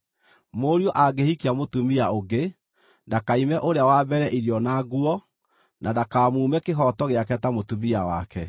Mũriũ angĩhikia mũtumia ũngĩ, ndakaime ũrĩa wa mbere irio na nguo, na ndakamũime kĩhooto gĩake ta mũtumia wake.